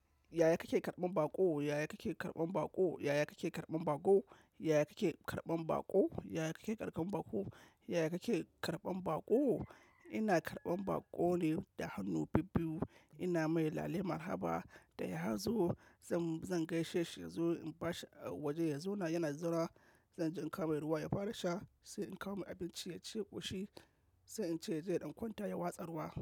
Yaya kake karɓan baƙo? Yaya kake karɓan baƙo? Yaya kake karɓan baƙo? Yaya kake karɓan baƙo? Yaya kake karɓan baƙo? Yaya kake karɓan baƙo? Ina karɓan baƙo ne da hannu bibbiyu. Ina mai lale marhaba da ya hazo. Zan, zan gaishe shi inzo in ba shi waje ya zauna. Yana zuwa zan je in kawo mai ruwa ya fara sha. Sai in kawo mai abinci ya ci ƙoshi. Sai in ce yaje ya ɗan kwanta ya watsar wa.